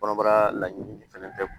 Kɔnɔbara la ɲini fɛnɛ bɛɛ